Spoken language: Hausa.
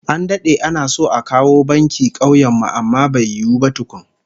An dade ana so a kawo banki kauyen mu amma bai yiwu ba tukun